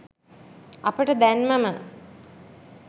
අපට දැන්මම